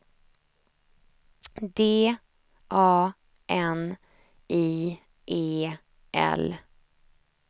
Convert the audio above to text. D A N I E L